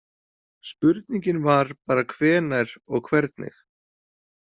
Spurningin var bara hvenær og hvernig.